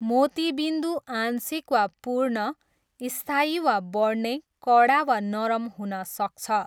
मोतिबिन्दु आंशिक वा पूर्ण, स्थायी वा बढ्ने, कडा वा नरम हुन सक्छ।